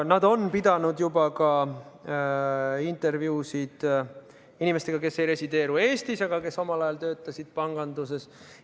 Nad on juba teinud ka intervjuusid inimestega, kes ei resideeru Eestis, aga kes omal ajal töötasid panganduses.